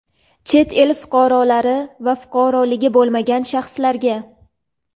chet el fuqarolari va fuqaroligi bo‘lmagan shaxslarga;.